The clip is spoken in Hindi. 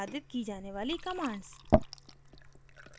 निष्पादित की जाने वाली commands